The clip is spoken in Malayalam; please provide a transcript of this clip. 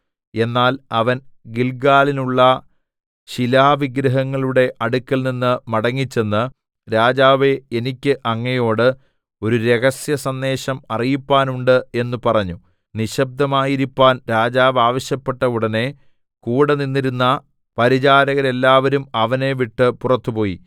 എന്നാൽ അവൻ ഗില്ഗാലിലുള്ള ശിലാവിഗ്രഹങ്ങളുടെ അടുക്കൽനിന്ന് മടങ്ങിച്ചെന്ന് രാജാവേ എനിക്ക് അങ്ങയോട് ഒരു രഹസ്യസന്ദേശം അറിയിപ്പാനുണ്ട് എന്ന് പറഞ്ഞു നിശബ്ദമായിരിപ്പാൻ രാജാവ് ആവശ്യപ്പെട്ട ഉടനെ കൂടെ നിന്നിരുന്ന പരിചാരകരെല്ലാവരും അവനെ വിട്ടു പുറത്തുപോയി